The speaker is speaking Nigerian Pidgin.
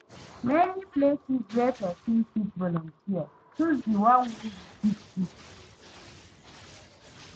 Many places wey persin fit volunteer choose di one wey you fit do